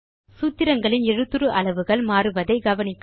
சூத்திரங்களில் எழுத்துரு அளவுகள் மாறுவதை கவனிக்கவும்